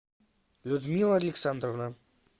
людмила александровна